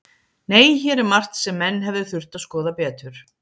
Nei, hér er margt sem menn hefðu þurft að skoða betur.